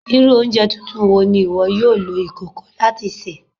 Iru ounjẹ tuntun wo ni iwọ yoo lo ikoko lati ṣe?